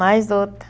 Mais outro.